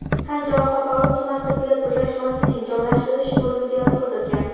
tan jarohati olib tuman tibbiyot birlashmasining jonlantirish bo‘limiga yotqizilgan.